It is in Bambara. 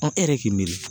e yɛrɛ k'i miiri